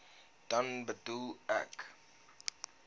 dan bedoel ek